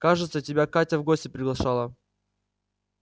кажется тебя катя в гости приглашала